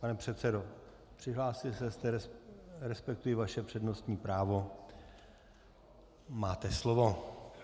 Pane předsedo, přihlásil jste se, respektuji vaše přednostní právo, máte slovo.